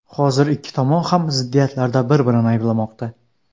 Hozirda ikki tomon ham ziddiyatlarda bir-birini ayblamoqda.